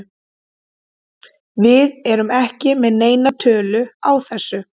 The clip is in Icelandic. Við erum ekki með neina tölu á þessu.